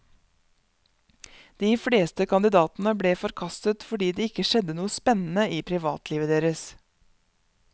De fleste kandidatene ble forkastet fordi det ikke skjedde noe spennende i privatlivet deres.